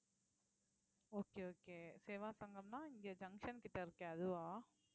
okay okay சேவா சங்கம்னா இங்கே junction கிட்ட இருக்கேன் அதுவா